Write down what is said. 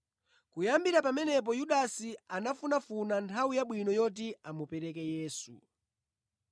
Kuyambira pamenepo Yudasi anafunafuna nthawi yabwino yoti amupereke Yesu.